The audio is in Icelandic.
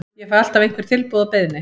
Ég fæ alltaf einhver tilboð og beiðnir.